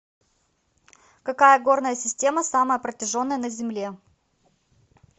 какая горная система самая протяженная на земле